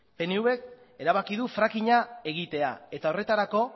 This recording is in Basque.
pnvk erabaki du fracking a egitea eta horretarako